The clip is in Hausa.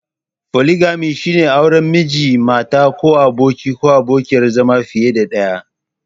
Foligami shine auren Miji/Mata ko abokin/abokiyar zama fiye da ɗaya.